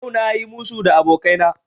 Yau na yi musu da abokaina